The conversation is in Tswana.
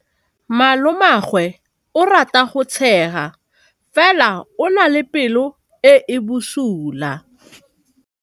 Malomagwe o rata go tshega fela o na le pelo e e bosula.